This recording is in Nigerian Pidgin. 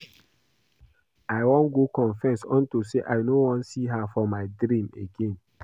I wan go confess unto say I no wan see her for my dream again